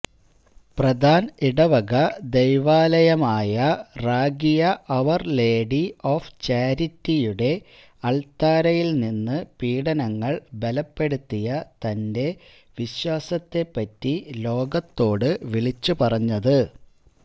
പ്രധാൻ ഇടവക ദൈവാലയമായ റാകിയ ഔവർ ലേഡി ഓഫ് ചാരിറ്റിയുടെ അൾത്താരയിൽനിന്ന് പീഡനങ്ങൾ ബലപ്പെടുത്തിയ തന്റെ വിശ്വാസത്തെപ്പറ്റി ലോകത്തോട് വിളിച്ചുപറഞ്ഞത്